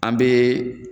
An bɛ